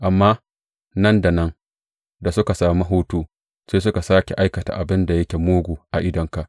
Amma nan da nan, da suka sami hutu, sai suka sāke aikata abin da yake mugu a idonka.